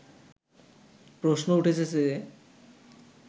প্রশ্ন উঠেছে যে